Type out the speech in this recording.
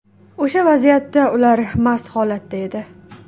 O‘sha vaziyatda ular mast holatda edi.